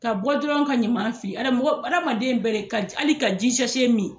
Ka bɔ dɔrɔn ka ɲaman fili ada mɔgɔ adamaden bɛ de ka ji ali ka ji sase mi